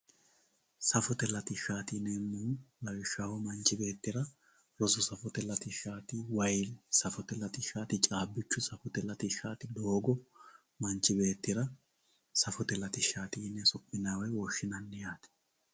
Safotte lattishatti yineemohu lawishaho manchi beettirra rosu safote latishati, wayi safote latishatti, caabbichu safotte latishati, doogo manchi beettira safotte latishati yine so'minayi woyi woshinayi yaate.